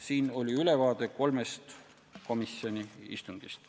Selline oli ülevaade kolmest komisjoni istungist.